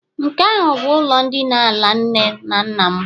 nke ahụ bụ ụlọ ndina ala nne na nna mụ.